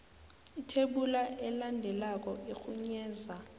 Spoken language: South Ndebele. ithebula elandelako irhunyeza